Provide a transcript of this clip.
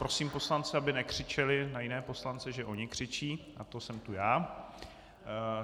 Prosím poslance, aby nekřičeli na jiné poslance, že oni křičí, od toho jsem tu já.